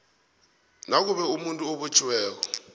nakube umuntu obotjhiweko